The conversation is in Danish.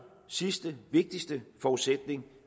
sidste og vigtigste forudsætning